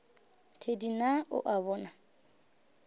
thedi na o a bona